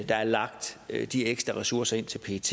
der er lagt de ekstra ressourcer ind til pet